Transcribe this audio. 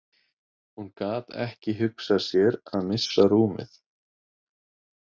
Hún gat ekki hugsað sér að missa rúmið.